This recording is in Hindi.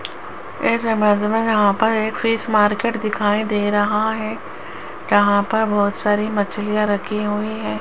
इस इमेज में यहां पर एक फिश मार्केट दिखाई दे रहा है जहां पर बहुत सारी मछलियां रखी हुई है।